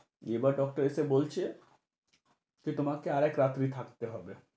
এবার doctor এসে বলছে, সে তোমাকে আরেক রাত্রি থাকতে হবে।